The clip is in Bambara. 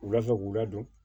Wula fɛ k'u ladon